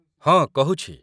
ହଁ, କହୁଛି